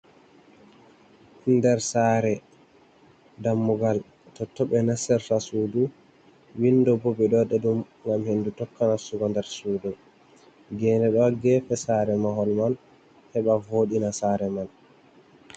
Nɗer sare ɗammugal tonton ɓe nasirta suɗu, winɗo ɓo ɓe ɗo waɗa ɗum gam henɗu tokka nastugo ɗer suɗu, gene do ha gefe sare mahol man heɓa voɗina sare man.